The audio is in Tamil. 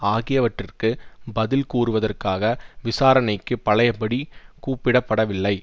ஆகியவற்றிற்கு பதில் கூறுவதற்காக விசாரணைக்கு பழைய படி கூப்பிடப்படவில்லை